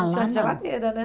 geladeira, né?